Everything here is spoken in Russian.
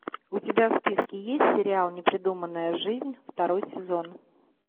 у тебя в списке есть сериал непридуманная жизнь второй сезон